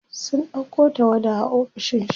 sun ɗauko tawada a ofishin shi